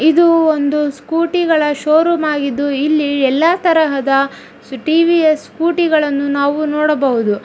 ಇದು ಒಂದು ಸ್ಕೂಟಿ ಗಳ ಷೋರೂಮ್ ಆಗಿದ್ದು ಇಲ್ಲಿ ತರಹದ ಟಿ ವಿ ಸ್ ಸ್ಕಿಕೋಟಿ ಗಳನ್ನು ನಾವು ನೋಡಬಹುದು.